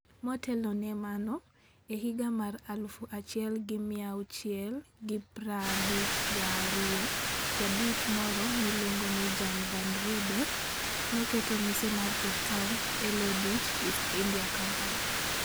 Motelo ne mano, e higa mar 1652, Ja-Dutch moro miluongo ni Jan van Riebeeck, noketo mise mar Cape Town e lo Dutch East India Company.